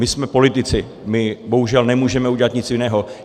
My jsme politici, my bohužel nemůžeme udělat nic jiného.